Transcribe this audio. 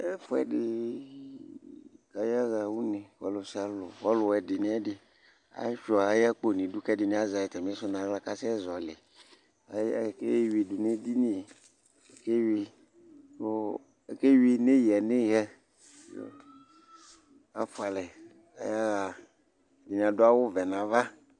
Ɛfʋɛdɩɩ k'ayaɣa une : ɔlʋ sialʋ ɔlʋɛdɩ n'ɛdɩ asʋia ayakpo n'idu ; k'ɛdɩnɩ azɛ atamɩsʋ n'aɣla k'asɛ zɔɔlɩ Ay ay eeyuidʋ n'edini k'eyui nɔ akeyui neyǝneyǝ Afʋalɛ ayaɣa , ɛdɩnɩ adʋ awʋvɛ n'ava